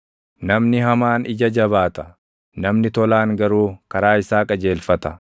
Namni hamaan ija jabaata; namni tolaan garuu karaa isaa qajeelfata.